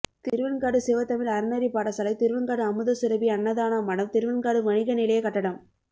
திருவெண்காடு சிவத்தமிழ் அறநெறிப்பாடசாலை திருவெண்காடு அமுதசுரபி அன்னதானமடம் திருவெண்காடு வணிக நிலைய கட்டடம்